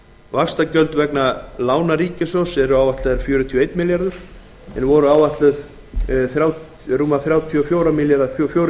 vaxtagjöld vegna lána ríkissjóðs eru áætluð fjörutíu og einn milljarður króna en voru áætluð þrjátíu og fjögur komma sjö milljarðar